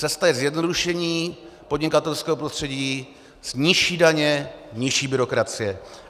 Cesta je zjednodušení podnikatelského prostředí, nižší daně, nižší byrokracie.